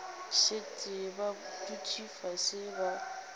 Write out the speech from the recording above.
šetše ba dutše fase ba